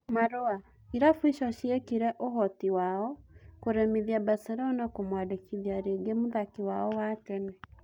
(Marũa) Irabu icio ciekire ũhoti wao kũremithia Baselona kũmwandĩkithia rĩngĩ mũthaki wao wa tene.